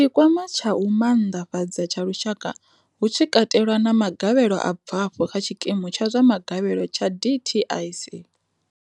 Tshi kwama tsha u maanḓafhadza tsha lushaka hu tshi katelwa na magavhelo a bvaho kha tshikimu tsha zwa magavhelo tsha dtic.